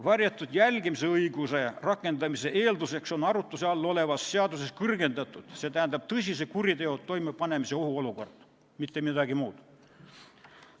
Varjatud jälgimise õiguse rakendamise eeldus on arutluse all olevas seaduses kõrgendatud oht, st tõsise kuriteo toimepanemise oht, mitte midagi muud.